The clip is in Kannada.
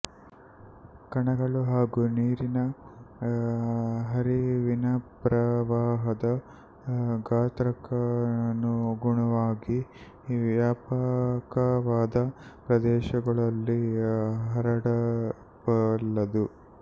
ಕಣಗಳ ಹಾಗೂ ನೀರಿನ ಹರಿವಿನಪ್ರವಾಹದ ಗಾತ್ರಕ್ಕನುಗುಣವಾಗಿ ವ್ಯಾಪಕವಾದ ಪ್ರದೇಶಗಳಲ್ಲಿ ಹರಡಬಲ್ಲದು